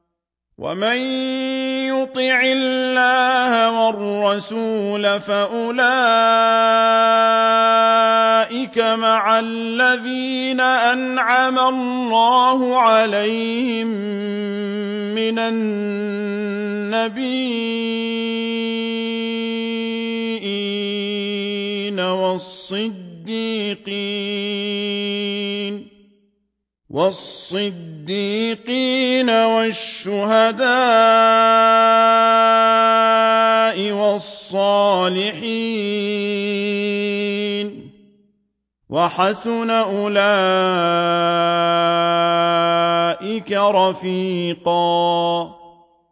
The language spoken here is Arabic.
وَمَن يُطِعِ اللَّهَ وَالرَّسُولَ فَأُولَٰئِكَ مَعَ الَّذِينَ أَنْعَمَ اللَّهُ عَلَيْهِم مِّنَ النَّبِيِّينَ وَالصِّدِّيقِينَ وَالشُّهَدَاءِ وَالصَّالِحِينَ ۚ وَحَسُنَ أُولَٰئِكَ رَفِيقًا